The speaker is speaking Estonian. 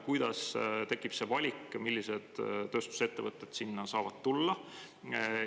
Kuidas tekib see valik, millised tööstusettevõtted saavad sinna tulla?